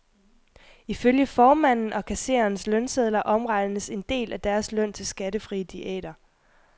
Ifølge formanden og kassererens lønsedler omregnes en del af deres løn til skattefrie diæter.